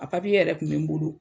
A papiye yɛrɛ tun bɛ n bolo.